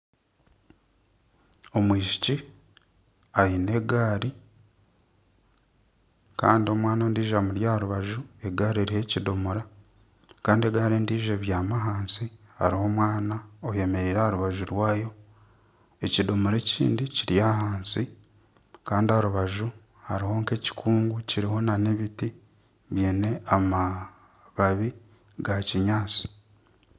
Omwishiki aine egaari kandi omwana ondiijo amuri aha rubaju egaari eriho ekidomora kandi egaari endiijo ebyami ahansi hariho omwana ayemereire aha rubaju rwayo ekidomora ekindi kiri ahansi kandi aha rubaju hariho ekikungu kiriho ebiti biine amababi gakinyansi